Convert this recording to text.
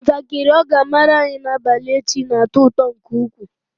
Njakịrị ọ ga amaara anyi n'abalị echi na-atọ ụtọ nke ukwuu.